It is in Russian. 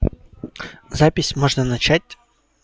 запись можно начать